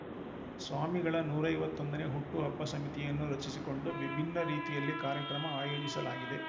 ಸ್ವಾಮಿಗಳ ನೂರ ಐವತ್ತೊಂದು ನೇ ಹುಟ್ಟು ಹಬ್ಬ ಸಮಿತಿಯನ್ನು ರಚಿಸಿಕೊಡು ವಿಭಿನ್ನರೀತಿಯಲ್ಲಿ ಕಾರ್ಯಕ್ರಮ ಆಯೋಜಿಲಾಗಿದೆ